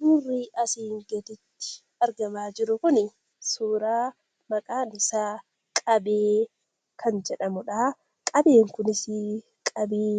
Suurri asiin gaditti argamaa jiru kun suuraa qabee kan jedhamudha. Qabeen kunis qabee